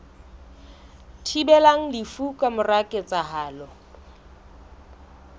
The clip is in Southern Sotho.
thibelang lefu ka mora ketsahalo